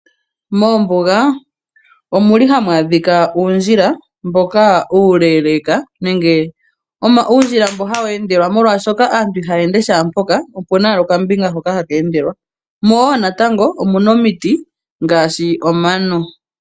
Moombuga omuli hamu adhika uundjula mboka uuleeeleka nenge uundjila mboka ha wu endelwa .Molwaa shoka aantu ihaya ende shaa mpoka ,opuna owala okandjila hoka haha endelwa mo woo natango omuna omiti ngaashi omano.